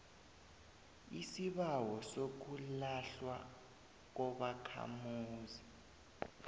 isibawo sokulahlwa kobakhamuzi